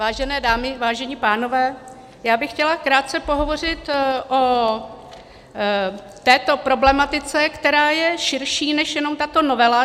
Vážené dámy, vážení pánové, já bych chtěla krátce pohovořit o této problematice, která je širší než jenom tato novela.